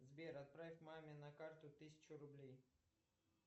сбер отправь маме на карту тысячу рублей